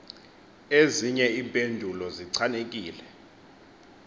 ezinye iimpendulo zichanekile